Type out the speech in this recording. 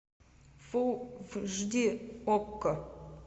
фулл эйч ди окко